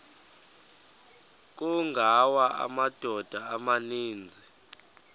kungawa amadoda amaninzi